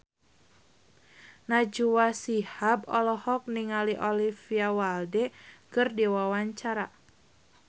Najwa Shihab olohok ningali Olivia Wilde keur diwawancara